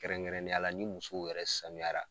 Kɛrɛnnenyala ni musow yɛrɛ sanuyara